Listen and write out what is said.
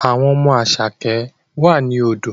Àwọn ọmọ Asake wà ní odò